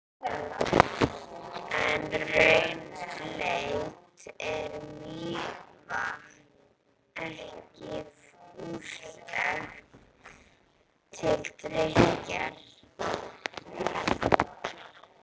En rauðleitt mýrarvatnið er ekki fýsilegt til drykkjar.